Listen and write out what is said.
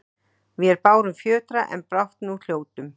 Vér bárum fjötra, en brátt nú hljótum